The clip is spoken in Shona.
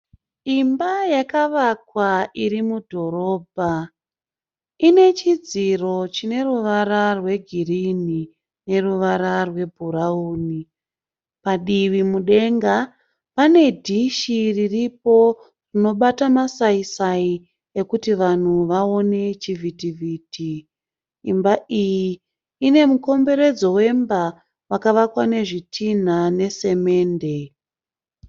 Imba yakavakwa iri mudhorobha. Ine chidziro chine ruvara rwegirini neruvara rwebhurauni. Padivi mudenga pane dhishi riripo rinobata masai sai ekuti vanhu vaone chivhiti vhiti. Imbai iyi ine mukomberedzo wemba wakavakwa nezvidhinha nesamende.